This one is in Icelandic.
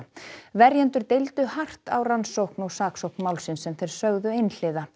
verjendur deildu hart á rannsókn og saksókn málsins sem þeir sögðu einhliða